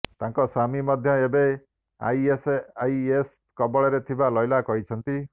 ତାଙ୍କ ସ୍ବାମୀ ମଧ୍ୟ ଏବେ ଆଇଏସଆଇଏସ କବଳରେ ଥିବା ଲୈଲା କହିଛନ୍ତି